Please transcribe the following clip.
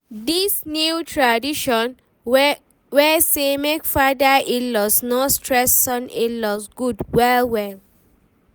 this new tradition wey say make father in-laws no stress son in-laws good well well.